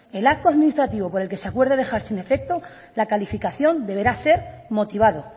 el acto administrativo por el que se acuerde dejar sin efecto la calificación deberá ser motivado